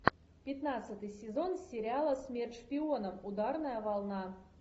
пятнадцатый сезон сериала смерть шпионам ударная волна